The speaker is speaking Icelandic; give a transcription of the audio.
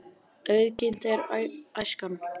Auðginnt er æskan.